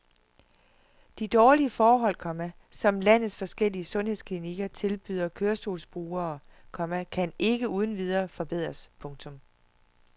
De dårlige forhold, komma som landets forskellige sundhedsklinikker tilbyder kørestolsbrugere, komma kan ikke uden videre forbedres. punktum